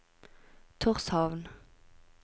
Tórshavn